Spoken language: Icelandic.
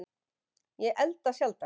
Ég elda sjaldan